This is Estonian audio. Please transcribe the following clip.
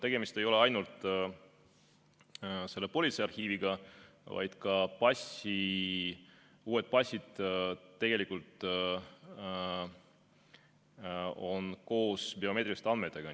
Tegemist ei ole ainult politseiarhiiviga, vaid ka uued passid on tegelikult biomeetriliste andmetega.